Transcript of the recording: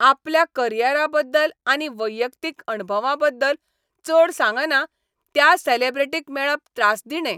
आपल्या करियरा बद्दल आनी वैयक्तीक अणभवां बद्दल चड सांगना त्या सॅलेब्रिटीक मेळप त्रासदिणें.